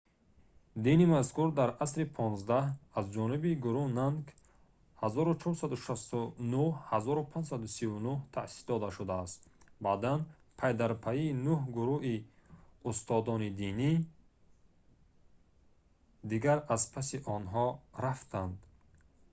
дини мазкур дар асри xv аз ҷониби гуру нанак 1469-1539 таъсис дода шудааст. баъдан пайдарпай нӯҳ гуруи устоди динӣ дигар аз паси онҳо рафтанд